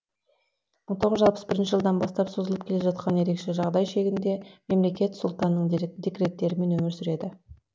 мың тоғыз жүз алпыс бірінші жылдан бастап созылып келе жатқан ерекше жағдай шегінде мемлекет сұлтанның декреттерімен өмір сүреді